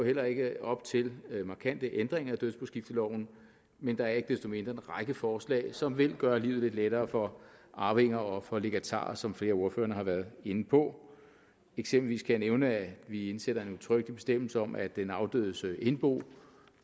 heller ikke op til markante ændringer af dødsboskifteloven men der er ikke desto mindre en række forslag som vil gøre livet lidt lettere for arvinger og for legatarer som flere af ordførerne har været inde på eksempelvis kan jeg nævne at vi indsætter en udtrykkelig bestemmelse om at den afdødes indbo